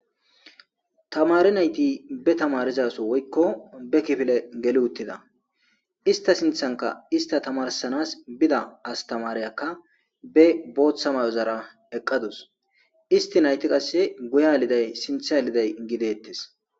tamari nayti be tamarizaso woykko be kifile geli uttida ista sinthanka ista tamarsanas bida astamariyakka be booththa may'ozara eqqadus isti nayti qasse guya liday sintha aliday gidettes.